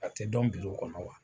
A tɛ dɔn kɔnɔ wa?